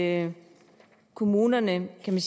at kommunerne kan